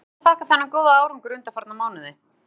Hverju viltu þakka þennan góða árangur undanfarna mánuði?